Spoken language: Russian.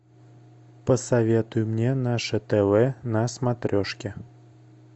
посоветуй мне наше тв на смотрешке